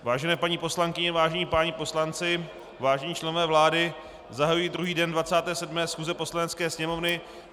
Vážené paní poslankyně, vážení páni poslanci, vážení členové vlády, zahajuji druhý den 27. schůze Poslanecké sněmovny.